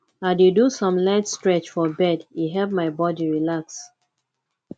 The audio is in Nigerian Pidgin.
i dey do some light stretch for bed e help my body relax